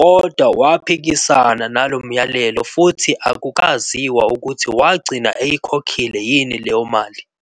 kodwa waphikisana nalo myalelo futhi akukaziwa ukuthi wagcina eyikhokhile yini leyo mali.